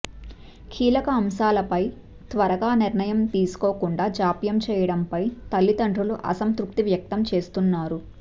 కీలక అంశాలపై త్వరగా నిర్ణయం తీసుకోకుండా జాప్యం చేయడంపై తల్లితండ్రులు అసంతృప్తి వ్యక్తం చేస్తున్నారు